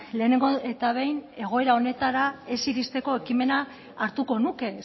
lehenengo eta behin egoera honetara ez iristeko ekimena hartuko nuke